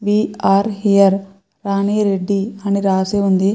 Way are here Rani Reddy అని రాసి ఉంది.